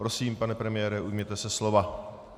Prosím, pane premiére, ujměte se slova.